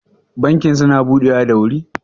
bankin suna budewa da wuri?